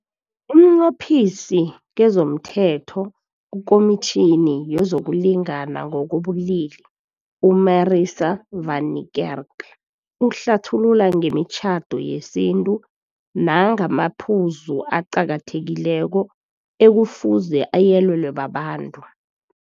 UmNqophisi kezomThetho kuKomitjhini yezokuLingana ngokobuLili u-Marissa van Niekerk uhlathulula ngemitjhado yesintu nangamaphuzu aqakathekileko ekufuze ayelelwe babantu.